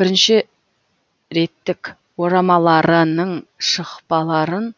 бірінші реттік орамаларының шықпаларын